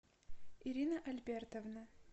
ирина альбертовна